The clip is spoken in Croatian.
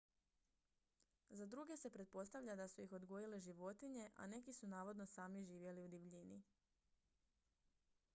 za druge se pretpostavlja da su ih odgojile životinje a neki su navodno sami živjeli u divljini